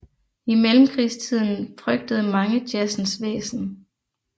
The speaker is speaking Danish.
I Mellemkrigstiden frygtede mange jazzens væsen